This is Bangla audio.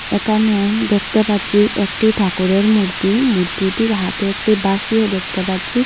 একানে দেখতে পাচ্ছি একটি ঠাকুরের মূর্তি মূর্তিটির হাতে একটি বাঁশিও দেখতে পাচ্ছি।